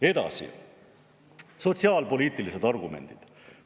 Edasi, sotsiaalpoliitilised argumendid.